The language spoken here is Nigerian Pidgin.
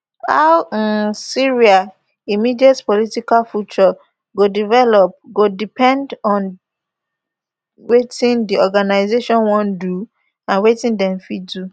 how um syria immediate political future go develop go depend on wetin di organisation wan do and wetin dem fit do